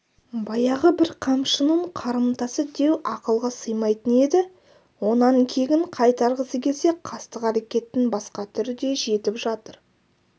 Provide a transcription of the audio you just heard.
баяғы бір қамшының қарымтасы деу ақылға сыймайтын еді онан кегін қайтарғысы келсе қастық әрекеттің басқа түріде жетіп жатыр